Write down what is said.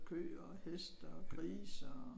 Køer og heste og grise og